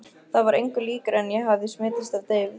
Það var engu líkara en ég hefði smitast af deyfð